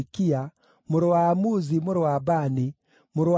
mũrũ wa Amuzi, mũrũ wa Bani, mũrũ wa Shemeri,